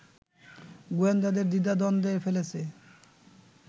গোয়েন্দাদের দ্বিধাদ্বন্দ্বে ফেলেছে